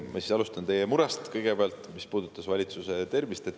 Ma siis alustan kõigepealt teie murest, mis puudutas valitsuse tervist.